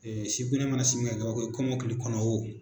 kɔmɔkili kɔnɔ o.